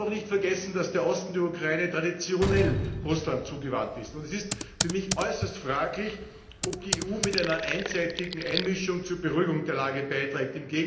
Man darf auch nicht vergessen, dass der Osten der Ukraine traditionell Russland zugewandt ist. Es ist für mich äußerst fraglich, ob die EU mit einer einseitigen Einmischung zur Beruhigung der Lage beiträgt.